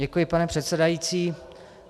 Děkuji, pane předsedající.